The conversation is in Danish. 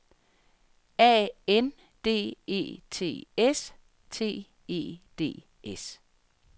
A N D E T S T E D S